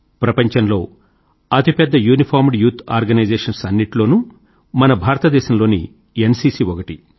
ప్రపంచంలో అతిపెద్ద uniformed youth organisations అన్నింటిలోనూ మన భారతదేశం లోని ఎన్సీసీ ఒకటి